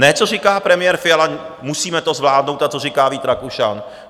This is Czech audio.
Ne, co říká premiér Fiala: Musíme to zvládnout, a co říká Vít Rakušan.